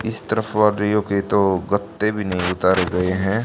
इस तरफ के तो गत्ते भी नहीं उतारे गए हैं।